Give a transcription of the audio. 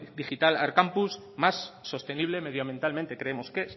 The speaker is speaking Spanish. digital arkampus más sostenible medioambientalmente creemos que es